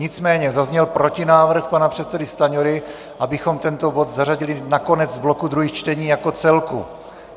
Nicméně zazněl protinávrh pana předsedy Stanjury, abychom tento bod zařadili na konec bloku druhých čtení jako celku.